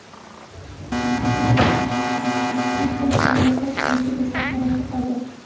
Uning o‘z joniga qasd qilishi bizni hayratda qoldirdi.